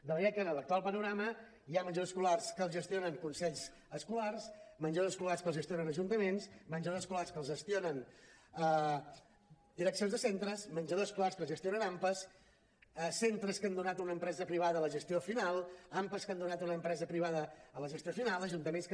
de manera que en l’actual panorama hi ha menjadors escolars que els gestionen consells escolars menjadors escolars que els gestionen ajuntaments menjadors escolars que els gestionen direccions de centres menjadors escolars que els gestionen ampas centres que han donat a una empresa privada la gestió final ampas que han donat a una empresa privada la gestió final ajuntaments que